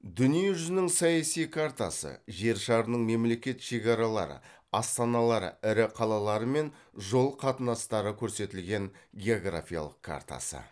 дүние жүзінің саяси картасы жер шарының мемлекет шекаралары астаналары ірі қалалары мен жол қатынастары көрсетілген географиялық картасы